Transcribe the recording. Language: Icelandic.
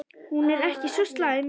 Hún er ekki svo slæm.